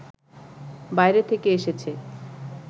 বাইরে থেকে এসেছে